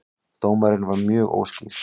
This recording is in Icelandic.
Dómarinn var mjög óskýr